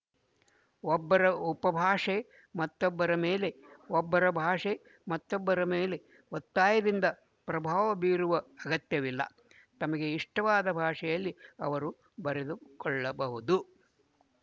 ಒಬ್ಬರ ಉಪಭಾಷೆ ಮತ್ತೊಬ್ಬರ ಮೇಲೆ ಒಬ್ಬರ ಭಾಷೆ ಮತ್ತೊಬ್ಬರ ಮೇಲೆ ಒತ್ತಾಯದಿಂದ ಪ್ರಭಾವಬೀರುವ ಅಗತ್ಯವಿಲ್ಲ ತಮಗೆ ಇಷ್ಟವಾದ ಭಾಷೆಯಲ್ಲಿ ಅವರು ಬರೆದುಕೊಳ್ಳಬಹುದು